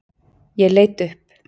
Ég leit upp.